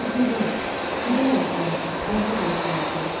Azuqə, qida ehtiyatı, ərzaq ehtiyatı.